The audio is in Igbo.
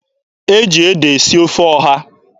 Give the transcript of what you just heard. E ji ede esi ofe ọha.